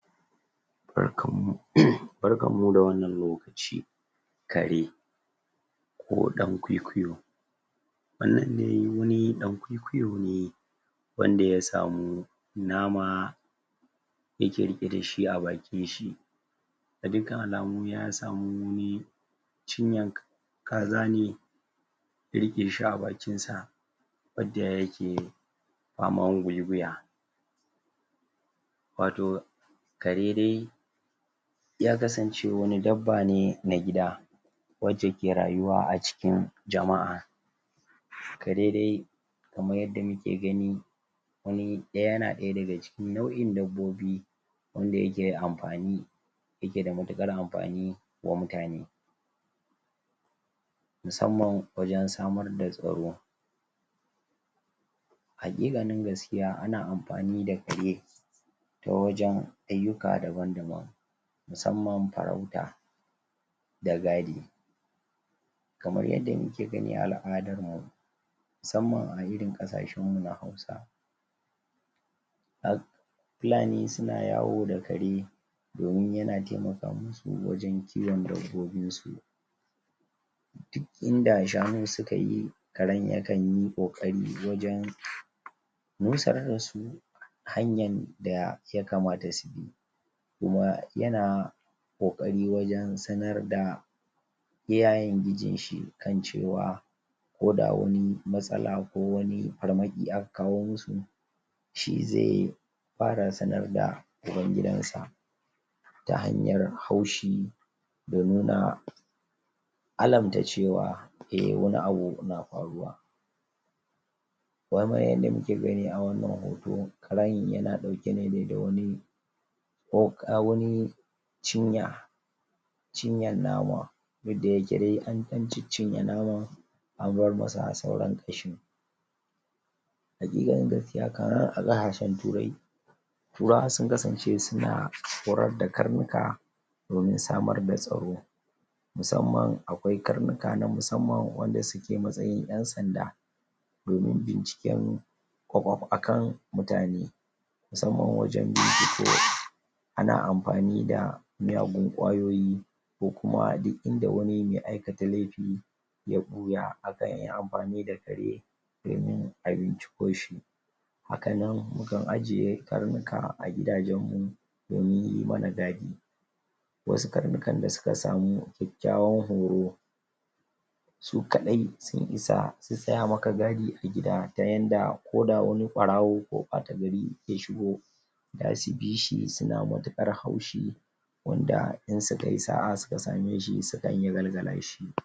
Jami'an ƴan sanda wanda aka ake kira da ƴan sandan tarzoma a turance sune wanda aka horar musamman domin shawo kan tarzoma bore da hargitsi a cikin al'umma babban aikinsu shine tabbatar da doka da oda kare rayuka da dukiyoyi da kuma tabbatar da zanga-zangar lumana bata rikiɗe zuwa tashin hankali ba Waɗannan jami'an suna da kayan aiki na musamman da dabarun da ke taimaka musu wajen shawo kan taron jama'a cikin ƙwarewa ba tare da haddasa ɓarna ba Ayyukan jami'an su haɗa da sarrafa jama'a ta hanyar hana ɓarke wa rikici idan ana fama da hargitsi ko bore suna amfani da hanyoyi daban-daban kaman feshi da hayaƙi mai sa hawaye amfani da ruwan zafi daga bututu na musamman harba alburusai na roba da kuma amfani da sanduna domin tarwatsa taron jama'a bugu da ƙari, suna amfani tsarurruka na musamman wajen rufe hanyoyi ko kare wasu wurare masu muhimmanci doim hana tarzoma ta ƙara yaɗuwa Waɗannan jami'an na fuskantan horo mai tsauri domin su kasance cikin shiri duk lokacin da ake buƙatar su ana koyar da su yadda za su mayar da martani bisa matakin hatsari da ake ciki wasu na amfani da kayan kariya kaman hulan kwano, garkuwar kariya da rigunan hana harbi Bugu da ƙari, ana koya musu dabarun sadarwa, domin su iyatattaunawa da masu bore da masu zanga-zanga don hana tashin hankali tun kafin ya faru Duk da irin rawan da suke takawa wajen tabbatar da tsaro jami'an suna fuskantar suka daga ƙungiyoyin kare haƙƙin ɗan adam da wasu ƴan ƙasa A wasu lokutan ana zargin su da yin amfani da ƙarfi fiye da kima ko cin zarafin jama'a a ƙasashen da ake bin tsarin dimokuraɗiyya ana samar da dokoki ta hanyar sa ido domin tabattar da cewa jami'an sun bi doka kuma sun kare haƙƙin jama;a muhimmancin wannan jami'an ba zai iya missaltuwa ba a cikin idan babu su za a iya fuskantan matsaloli masu tsanani a yayin rikici suna hana ayyukan ta'addanci, sace-sace a lokacin tarzoma duk da haka dole ne a samar da hanyoyi na kare haƙƙin bil adama domin kada su zama wata barazana ga ƴancin fadin albarkacin baki da gangami cikin lumana ƙarshe jami'an suna taka muhimmiyan rawa wajen kare zaman lafiya da doka a cikin al'umma ayyukan su na taimakawa wajen hana hargitsi ya rikiɗe zuwa rikici mai muni duk da haka dole ne a tabbatar da cewa suna aiki bisa ƙa'ida da doka ba tare da cin zarafi ba dole ne su fahimci cewa aiki ne na tsaro da suke yi da kuma kariya ba na zalinci ba idan har aka sanu daidaito tsakanin tabbatar da tsaro da kare haƙƙin ɗan adam to al'umma zata kasance cikin kwanciyar hankali da lumana.